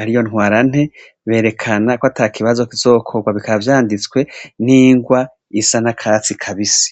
ari yo ntwara nte berekana ko ata kibazo kizokorwa bikavyanditswe n'ingwa isa na katsi kabise.